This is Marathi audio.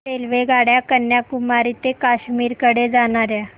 रेल्वेगाड्या कन्याकुमारी ते काश्मीर कडे जाणाऱ्या